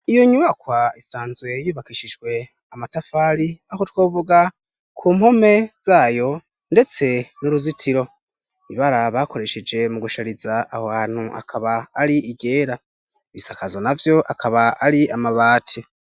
Iyo nyubakwa isanzwe yubakishijwe amatafari, aho twovuga ku mpome zayo ndetse n'uruzitiro. Ibara bakoresheje mu gushariza aho hantu akaba ari iryera. Ibisakazo na vyo akaba ari amabati.